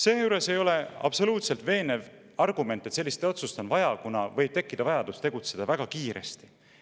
Seejuures ei ole absoluutselt veenev argument, et sellist otsust on vaja, kuna võib tekkida vajadus tegutseda väga kiiresti.